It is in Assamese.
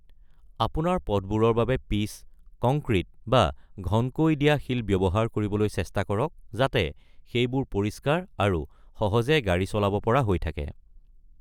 আপোনাৰ পথবোৰৰ বাবে পিচ, কংক্ৰিট বা ঘনকৈ দিয়া শিল ব্যৱহাৰ কৰিবলৈ চেষ্টা কৰক, যাতে সেইবোৰ পৰিষ্কাৰ আৰু সহজে গাড়ী চলাব পৰা হৈ থাকে।